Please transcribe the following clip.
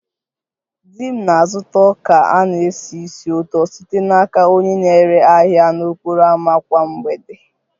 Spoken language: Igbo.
Di m na-azụta ọka a na-esi ísì ụtọ site n'aka onye na-ere ahịa n'okporo ámá kwa mgbede